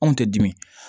Anw tɛ dimi